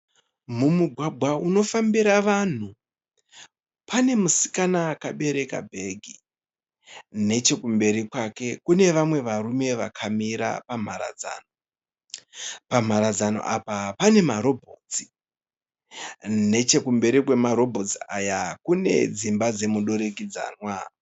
Mumugwagwa unofambira vanhu pane musikana akabereka bhegi. Nechekumberi kwake kune vamwe varume vakamira pamharadzano. Pamharadzano apa pane marobhotsi. Nechekumberi kwemarobhotsi aya kune dzimba dzomudurikidzanwa